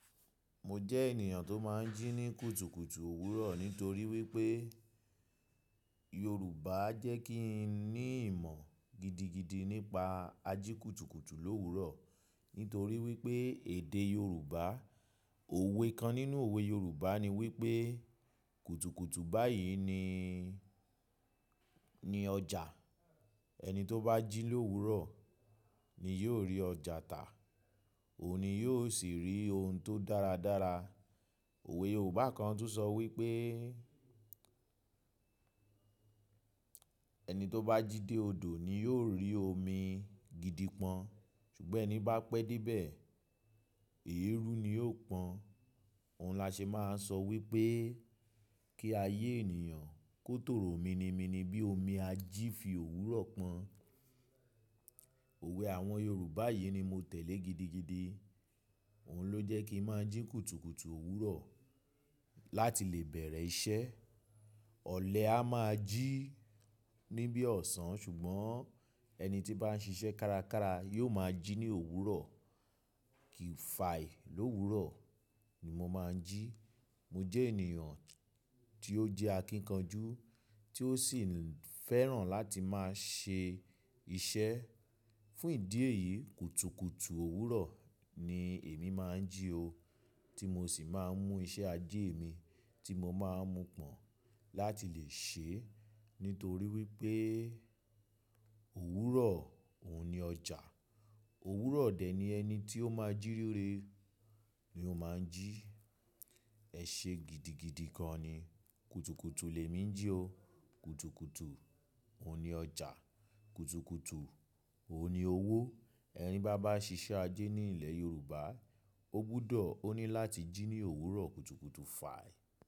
Mo jẹ́ ènìyàn tó máa ń jí ní kùtùkùtù òwúrọ̀ nítorí wípé Yorùbá jẹ́ kí n ní ìmọ̀ gidigidi nípa ajíkùtùkùtù l'òwúrò. Nítorí wípé èdè Yorùbá, òwe kan nínú òwe Yorùbá ni wípé, "kùtùkùtù báyìí ni, ni ọjà, ẹni tó bá jí l'òwúrò ni yóò rí ọjà tà, òun ni yóò sì rí ohun tó dára dára." Òwe Yorùbá kan tún sọ wípé, "ẹni tó bá jí dé odò ni yóò rí omi gidi pọ́n, ṣùgbọ́n ẹni bá pẹ́ dé ibẹ̀, èérú ni yóò pọ́n." Òun làṣẹ máa ń sọ wípé kí ayé ènìyàn kó tòrò mini mini bí omi ají fi òwúrọ̀ pọ́n. Òwe àwọn Yorùbá yìí ni mo tẹ̀lé gidigidi, òun ló jẹ́ kí n máa ń jí kùtùkùtù òwúrọ̀ láti lè bẹ̀rẹ̀ iṣẹ́. Ọ̀lẹ á máa jí níbi ọ̀sán, ṣùgbọ́n ẹni tí bá ń ṣiṣẹ́ kárakára yóò máa jí ní òwúrọ̀. Kìfàì l'òwúrò ni mo máa ń jí. Mo jẹ́ ènìyàn tí ó jẹ́ akíkanjú, tí ó sì fẹ́ràn láti máa ṣe iṣẹ́. Fún ìdí èyí, kùtùkùtù òwúrọ̀ ni èmi máa ń jí o, tí mo sì máa ń mú iṣẹ́ ajé mi tí mo máa ń mu pọ̀n láti lè ṣe é. Nítorí wípé òwúrọ̀ òun ni ọjà. Òwúrọ̀ dẹ̀ ni ẹni tí ó máa ń jí rere ni ó máa ń jí. Ẹ̀ṣe gidigidi gan ni, kùtùkùtù lè mí jí o. Kùtùkùtù òun ni ọjà, kùtùkùtù òun ni owó. Ẹni bá bá ṣiṣẹ́ ajé ní ilẹ̀ Yorùbá, ó gbúdọ̀ ó ní láti jí ní òwúrọ̀ kùtùkùtù fàì.